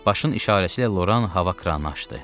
Başın işarəsilə Loran hava kranını açdı.